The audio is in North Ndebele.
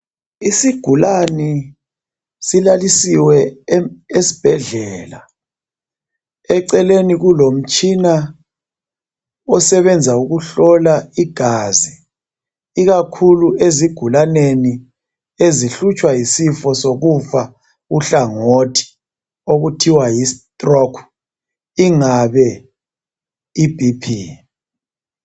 Isigulane silalisiwe esibhedlela eceleni kulomtshina osebenza ukuhlola igazi ikakhulu ezigulaneni ezihlutshwa yisifo sokufa uhlangothi okuthiwa yi stroke ingabe ibp.